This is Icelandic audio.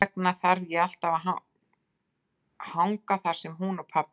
Þess vegna þarf ég alltaf að hanga þar sem hún og pabbi eru.